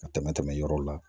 Ka tɛmɛ tɛmɛ yɔrɔw la